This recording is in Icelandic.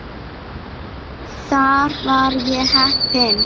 Þar var ég heppinn